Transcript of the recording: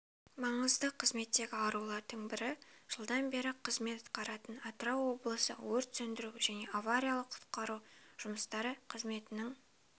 маңызды қызметтегі арулардың бірі жылдан бері қызмет атқаратын атырау облысы өрт сөндіру және авариялық-құтқару жұмыстары қызметінің